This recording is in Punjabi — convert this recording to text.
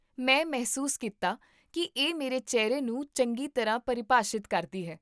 ਮੈਂ ਮਹਿਸੂਸ ਕੀਤਾ ਕੀ ਇਹ ਮੇਰੇ ਚਿਹਰੇ ਨੂੰ ਚੰਗੀ ਤਰ੍ਹਾਂ ਪਰਿਭਾਸ਼ਿਤ ਕਰਦੀ ਹੈ